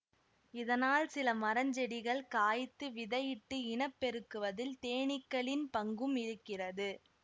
இதனால் சில மரஞ்செடிகள் காய்த்து விதையிட்டு இனம் பெருக்குவதில் தேனீக்களின் பங்கும் இருக்கிறது